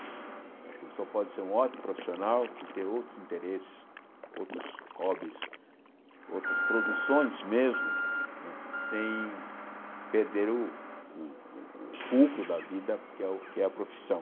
Eu acho que a pessoa pode ser um ótimo profissional e ter outros interesses, outros hobbies, outras produções mesmo não é, sem perder o o fulcro da vida, que é o que é a profissão.